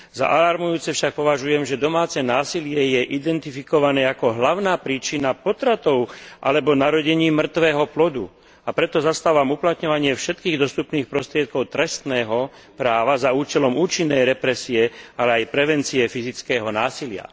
Za alarmujúce však považujem, že domáce násilie je identifikované ako hlavná príčina potratov alebo narodení mŕtveho plodu, a preto zastávam uplatňovanie všetkých dostupných prostriedkov trestného práva za účelom účinnej represie, ale aj prevencie fyzického násilia.